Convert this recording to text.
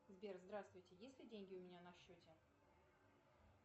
сбер здравствуйте есть ли деньги у меня на счете